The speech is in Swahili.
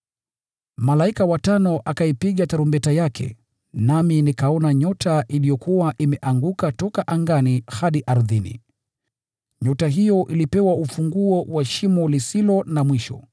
Malaika wa tano akaipiga tarumbeta yake, nami nikaona nyota iliyokuwa imeanguka toka angani hadi ardhini. Nyota hiyo ilipewa ufunguo wa lile Shimo.